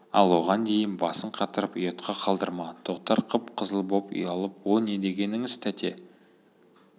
ал оған дейін басын қатырып ұятқа қалдырма тоқтар қып-қызыл боп ұялып о не дегеніңіз тәте